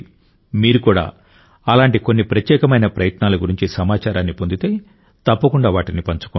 మీరు కూడా అలాంటి కొన్ని ప్రత్యేకమైన ప్రయత్నాల గురించి సమాచారాన్ని పొందితే తప్పకుండా వాటిని పంచుకోండి